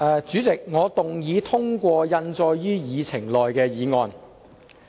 主席，我動議通過印載於議程內的議案。